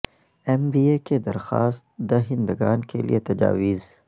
M B A کے درخواست دہندگان کے لئے تجاویز